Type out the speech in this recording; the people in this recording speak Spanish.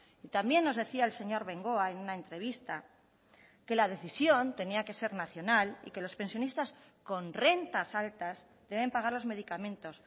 y también nos decía el señor bengoa en una entrevista que la decisión tenía que ser nacional y que los pensionistas con rentas altas deben pagar los medicamentos